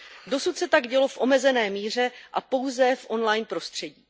Dosud se tak dělo v omezené míře a pouze v online prostředí.